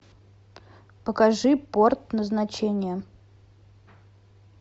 покажи порт назначения